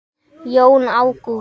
Jón Ágúst.